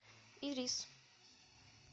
ирис